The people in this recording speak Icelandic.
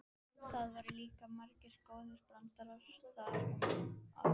Það voru líka margir góðir brandarar í gangi um það.